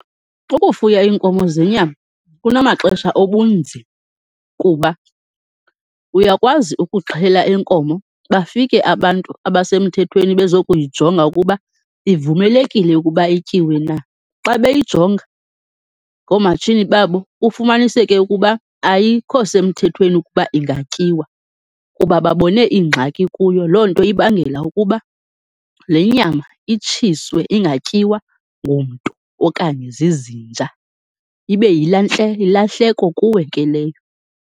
Ukufuya iinkomo zenyama kunamaxesha obunzima, kuba uyakwazi ukuxhela inkomo, bafike abantu abasemthethweni bezokuyijonga ukuba ivumelekile ukuba ityiwe na. Xa beyijonga ngoomatshini babo kufumaniseke ukuba ayikho semthethweni ukuba ingatyiwa kuba babone iingxaki kuyo. Loo nto ibangela ukuba lenyama itshiswe, ingatyiwa ngumntu okanye zizinja, ibe yilahleko kuwe ke leyo.